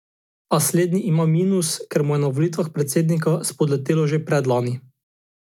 A slednji ima minus, ker mu je na volitvah predsednika spodletelo že predlani.